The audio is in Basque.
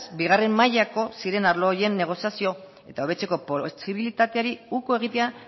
bigarren mailako ziren arlo horien negoziazio eta hobetzeko posibilitateari uko egitea